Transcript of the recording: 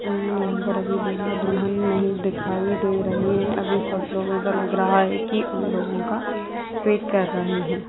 यहाँ पर अभी दूल्हा दुल्हन नहीं दिखाई दे रहे है अभी सब लोग ऐसा लग रहा है कि उन लोगों का वेट कर रहे है।